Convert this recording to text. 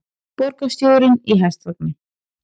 Borgarstjórinn í hestvagni